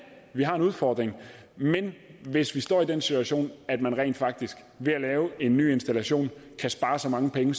vi har en udfordring men hvis vi står i den situation at man rent faktisk ved at lave en ny installation kan spare så mange penge